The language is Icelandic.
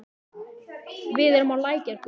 Við erum á Lækjargötu.